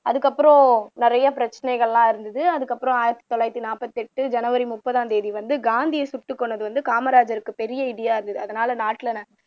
அதுக்கப்புறம் நிறைய பிரச்சினைகள் எல்லாம் இருந்துது அதுக்கப்புறம் ஆயிரத்து தொள்ளாயிரத்து நாற்பத்து எட்டு ஜனவரி முப்பதாம் தேதி வந்து காந்தியை சுட்டுக்கொன்னது வந்து காமராஜருக்கு பெரிய இடியா ஆகுது அதுனால நாட்டுல